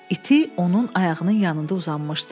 İti onun ayağının yanında uzanmışdı.